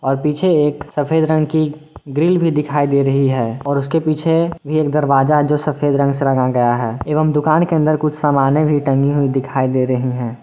और पीछे एक सफेद रंग की ग्रिल भी दिखाई दे रही है और उसके पीछे एक दरवाजा है जो सफेद रंग से रंगा गया है एवं दुकान के अंदर कुछ सामाने भी टंगी हुई दिखाई दे रही हैं।